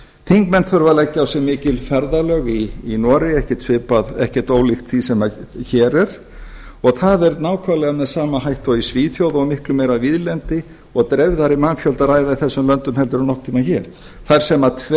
þingmenn þurfa að leggja á sig mikil ferðalög í noregi ekkert ólíkt því sem hér er og það er nákvæmlega með sama hætti og í svíþjóð og miklu meira víðlendi og um dreifðari mannfjölda að ræða í þessum löndum en nokkurn tíma hér þar sem